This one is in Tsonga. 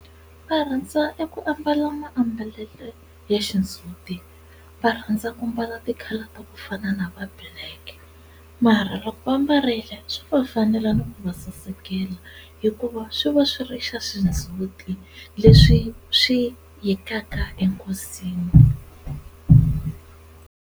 Va rhandza eku ambala maambalelo ya xindzuti va rhandza ku mbala ti-colour ta ku fana na va black, mara loko va mbarile swi va fanela ni ku va sasekela hikuva swi va swi ri xa xindzhuti leswi swi yekaka enkosini.